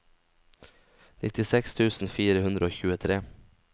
nittiseks tusen fire hundre og tjuetre